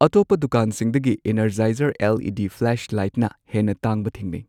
ꯑꯇꯣꯞꯄ ꯗꯨꯀꯥꯟꯁꯤꯡꯗꯒꯤ Energizer L E D ꯐ꯭ꯂꯥꯁꯂꯥꯏꯠꯅ ꯍꯦꯟꯅ ꯇꯥꯡꯕ ꯊꯦꯡꯅꯩ꯫